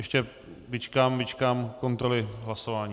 Ještě vyčkám kontroly hlasování.